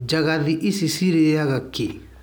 Njagathi ici cirĩaga kĩĩ.